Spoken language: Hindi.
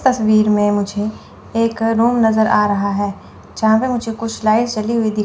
तस्वीर में मुझे एक रूम नजर आ रहा है जहां पे मुझे कुछ लाइट जली हुई दिख--